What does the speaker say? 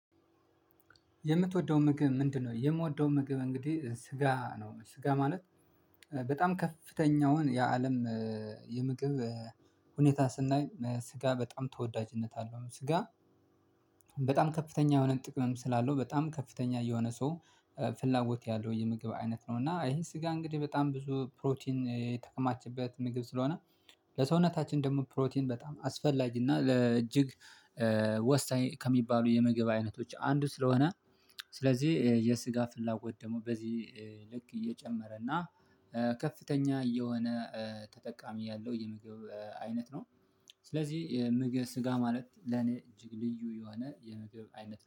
የምትወደው ምግብ ምንድነው? የምወደው ምግብ እንግዲህ ስጋ ነው። ስጋ ማለት በጣም ከፍተኛውን የአለም ሁኔታ ስናይ፤ ስጋ በጣም ተወዳጅነት አለው ስጋ በጣም ከፍተኛ የሆነ ጥቅምም ስላለው፤ በጣም ከፍተኛ ሰው ፍላጎት ያለው የምግብ አይነት ነው እና ይሄን ስጋ እንግዲህ በጣም ብዙ ፕሮቲን የተከማችበት ምግብ ስለሆነ ለሰውነታችን ደግሞ ፕሮቲን በጣም አስፈላጊና ለእጅግ ወሳኝ ከሚባሉ የምግብ አይነቶች አንዱ፤ ስለሆነ ስለዚህ፤ የስጋ ፍላጎት ደግሞ በዚህ ልክ እየጨመረ እና ከፍተኛ የሆነ ተጠቃሚ ያለው የምግብ አይነት ነው። ስለዚህ የምግብ ስጋ ማለት ለኔ እጅግ ልዩ የሆነ የምግብ አይነት